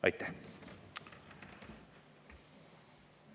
Aitäh!